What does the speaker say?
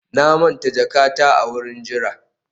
na manta jakata a wurin jira